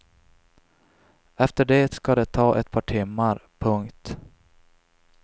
Efter det ska det ta ett par timmar. punkt